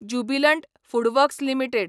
Jubilant Foodworks limited